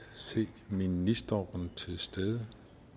se ministeren til stede